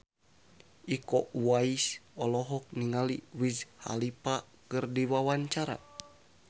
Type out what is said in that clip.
Iko Uwais olohok ningali Wiz Khalifa keur diwawancara